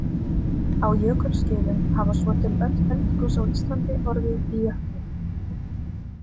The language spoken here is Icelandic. Á jökulskeiðum hafa svo til öll eldgos á Íslandi orðið í jöklum.